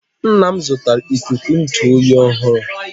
nna m zụtara ikuku ntụ oyi ọhụrụ